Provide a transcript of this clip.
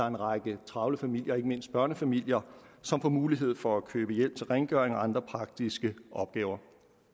en række travle familier ikke mindst børnefamilier som får mulighed for at købe hjælp til rengøring og andre praktiske opgaver